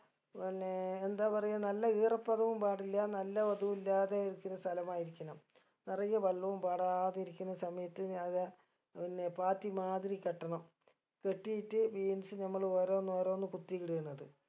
പിന്നെ എന്താ പറയ നല്ല ഈറപ്പതും പാടില്ല നല്ല ഒതുല്ലാതെ ഇരിക്കുന്ന സ്ഥലമായിരിക്കണം നിറയെ വെള്ളവും പാടാതിരിക്കുന്ന സമയത്ത് ഞാനിതാ പിന്നെ പാത്തി മാതിരി കെട്ടണം കെട്ടിയിട്ട് beans നമ്മൾ ഓരോന്നോരോന്ന് കുത്തി ഇടെണത്